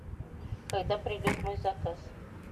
когда придет мой заказ